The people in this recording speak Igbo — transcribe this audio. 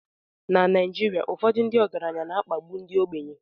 Na Naijiria, ụfọdụ ndị ọgaranya na-akpagbu ndị ogbenye